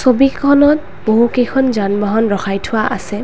ছবিখনত বহুকেইখন যানবাহন ৰখাই থোৱা আছে।